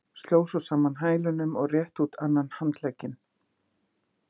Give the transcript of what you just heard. Sló svo saman hælunum og rétti út annan handlegginn.